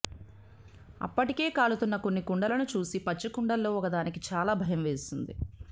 అప్పటికే కాలుతున్న కొన్ని కుండలను చూసి పచ్చికుండల్లో ఒకదానికి చాలా భయం వేసింది